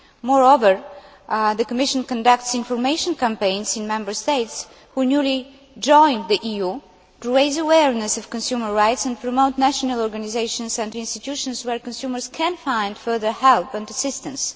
Moreover, the Commission conducts information campaigns in Member States who newly joined the EU to raise awareness of consumer rights and promote national organisations and institutions where consumers can find further help and assistance.